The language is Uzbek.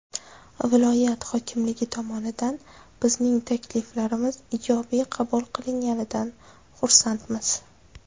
Viloyat hokimligi tomonidan bizning takliflarimiz ijobiy qabul qilinganidan xursandmiz”.